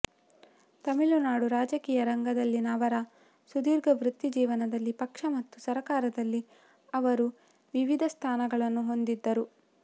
ತಮಿಳುನಾಡು ರಾಜಕೀಯ ರಂಗದಲ್ಲಿನ ಅವರ ಸುದೀರ್ಘ ವೃತ್ತಿಜೀವನದಲ್ಲಿ ಪಕ್ಷ ಮತ್ತು ಸರಕಾರದಲ್ಲಿ ಅವರು ವಿವಿಧ ಸ್ಥಾನಗಳನ್ನು ಹೊಂದಿದ್ದರು